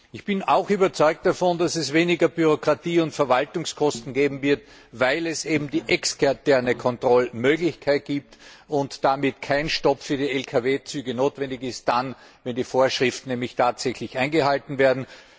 Ich bin auch überzeugt davon, dass es weniger Bürokratie und Verwaltungskosten geben wird, weil es eben die externe Kontrollmöglichkeit gibt und damit kein Stopp für die Lkw Züge notwendig ist, dann nämlich, wenn die Vorschriften tatsächlich eingehalten werden.